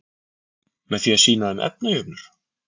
Með því að sýna þeim efnajöfnur?